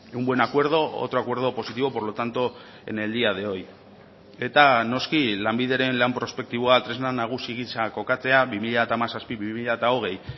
un buen acuerdo otro acuerdo positivo por lo tanto en el día de hoy eta noski lanbideren lan prospektiboa tresna nagusi giza kokatzea bi mila hamazazpi bi mila hogei